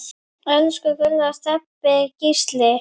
Elsku Gulla, Stebbi og Gísli.